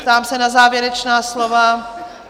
Ptám se na závěrečná slova?